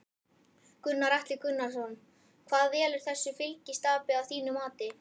Gunnar Atli Gunnarsson: Hvað velur þessu fylgistapi að þínu mati?